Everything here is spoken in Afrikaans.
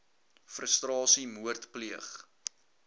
frustrasie moord pleeg